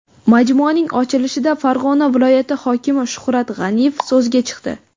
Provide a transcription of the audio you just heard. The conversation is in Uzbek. Majmuaning ochilishida Farg‘ona viloyati hokimi Shuhrat G‘aniyev so‘zga chiqdi.